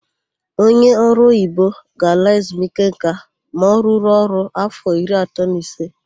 Onye ọrụoyibo ga-ala ezumike nka ma ọ rụruo ọrụ áfọ iri atọ na ise.